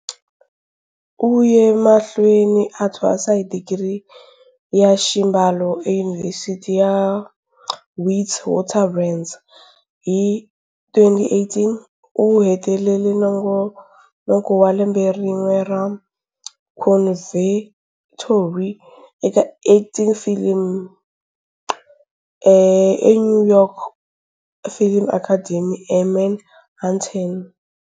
U ye mahlweni a thwasa hi digiri ya xibalo eYunivhesiti ya Witwatersrand. Hi 2018, u hetelele nongonoko wa Lembe rin'we ra Conservatory eka Acting for Film eNew York Film Academy eManhattan.